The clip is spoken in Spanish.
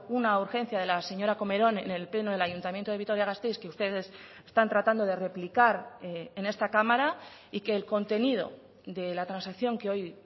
una urgencia de la señora comerón en el pleno del ayuntamiento de vitoria gasteiz que ustedes están tratando de replicar en esta cámara y que el contenido de la transacción que hoy